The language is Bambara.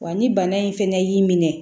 Wa ni bana in fɛnɛ y'i minɛ